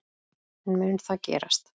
En mun það gerast?